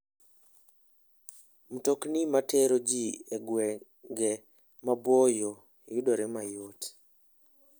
Mtokni matero ji e gwenge maboyo yudore mayot.